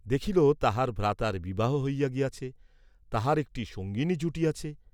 দেখিল তাহার ভ্রাতার বিবাহ হইয়া গিয়াছে, তাহার একটি সঙ্গিনী জুটিয়াছে!